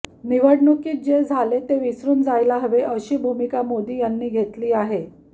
निवडणुकीत जे झाले ते विसरून जायला हवे अशी भूमिका मोदी यांनी घेतली आहे